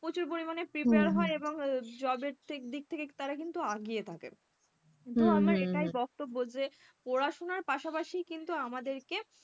প্রচুর পরিমাণে prepare হয় এবং job এর দিক থেকে তারা কিন্তু আগিয়ে থাকে তো আমার এটাই বক্তব্য যে পড়াশোনার পাশাপাশি কিন্তু আমাদেরকে,